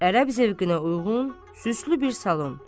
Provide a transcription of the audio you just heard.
Ərəb zövqünə uyğun süslü bir salon.